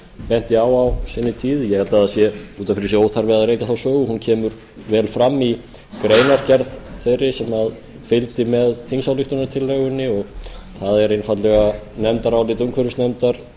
benti á á sinni tíð ég held að það sé út af fyrir sig óþarfi að rekja þá sögu hún kemur vel fram í greinargerð þeirri sem fylgdi með þingsályktunartillögunni og það er einfaldlega nefndarálit umhverfisnefndar